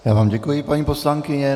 Já vám děkuji, paní poslankyně.